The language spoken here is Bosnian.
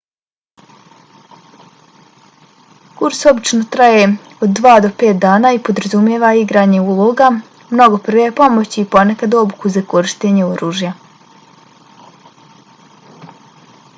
kurs obično traje od 2 do 5 dana i podrazumijeva igranje uloga mnogo prve pomoći i ponekad obuku za korištenje oružja